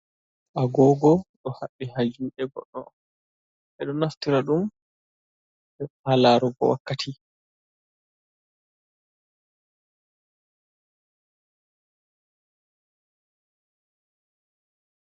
Agoogo ɗo habɓi haa juuɗe goɗɗo, ɓe ɗo naftira ɗum haa laarugo wakkati.